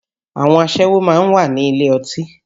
Àwọn aṣẹ́wó máa ń wà nílé ọtí